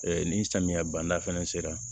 ni samiya banda fɛnɛ sera